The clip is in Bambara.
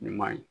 Ɲuman ye